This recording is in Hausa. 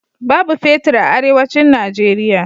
Babu fetir a Arewacin Nijeriya.